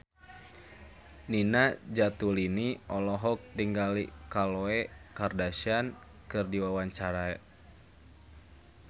Nina Zatulini olohok ningali Khloe Kardashian keur diwawancara